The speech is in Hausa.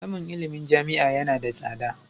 Samun ilimin jami'a yana da tsada.